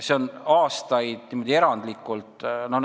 See on aastaid niimoodi erandlikult olnud.